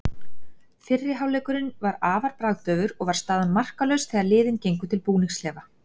Fyrri hálfleikurinn var afar bragðdaufur og var staðan markalaus þegar liðin gengu til búningsklefa.